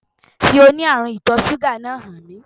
Fi oní ààrún ìtò súgà náà hàn mí